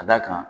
Ka d'a kan